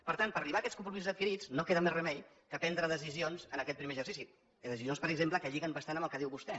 per tant per arribar a aquests compromisos adquirits no queda més remei que prendre decisions en aquest primer exercici decisions per exemple que lliguen bastant amb el que diu vostè